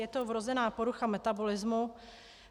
Je to vrozená porucha metabolismu.